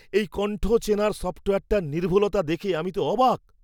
এই কণ্ঠ চেনার সফ্টওয়্যারটার নির্ভুলতা দেখে তো আমি অবাক!